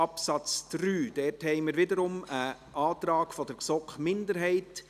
Dazu gibt es wieder einen Antrag der GSoK-Minderheit.